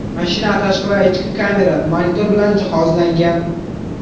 Mashina tashqi va ichki kamera, monitor bilan jihozlangan.